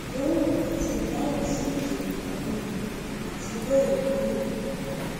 ìdánwò àti ìdáhùn sí ìdènàìkún omi àti bẹẹ lọ lè wúlò